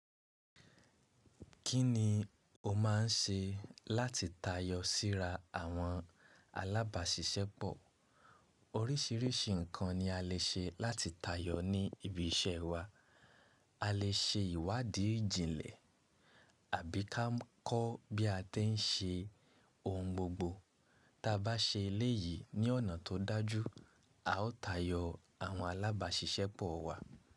Kí ni o máà ń ṣe láti tayọ síra àwọn alábàṣiṣẹ́ pọ̀? Oríṣìíríṣìí ǹkan ni a lè ṣe láti tayọ ní ibi iṣẹ́ wa. A lè ṣe ìwádìí ìjìnlẹ̀ àbí ká kọ̀ bí a ti ń ṣe ohun gbogbo. Tabá ṣe eléyìí ní ọ̀nà tó dájú, a ó tayọ àwọn alábàṣiṣẹ́ pọ̀ wa.